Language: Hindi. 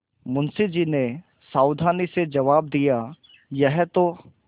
मुंशी जी ने सावधानी से जवाब दियायह तो